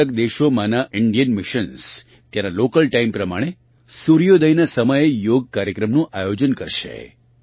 અલગઅલગ દેશોમાંનાં Indian missions ત્યાંના લોકલ ટાઇમ પ્રમાણે સૂર્યોદયનાં સમયે યોગ કાર્યક્રમનું આયોજન કરશે